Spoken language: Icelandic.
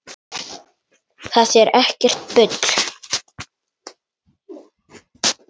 Það er ekkert bull.